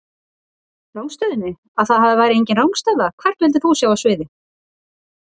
Rangstöðunni, að það væri enginn rangstaða Hvern vildir þú sjá á sviði?